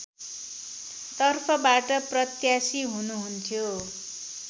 तर्फबाट प्रत्यासी हुनुहुन्थ्यो